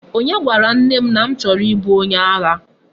Onye gwara nne m na m choro ibu onye agha?